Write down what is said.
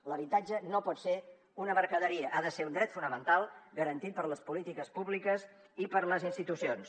l’habitatge no pot ser una mercaderia ha de ser un dret fonamental garantit per les polítiques públiques i per les institucions